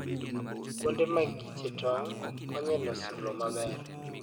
Kuonde ma kiche tong' konyo e loso lowo maber.